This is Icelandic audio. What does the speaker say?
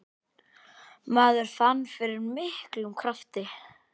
Maður fann fyrir miklum krafti.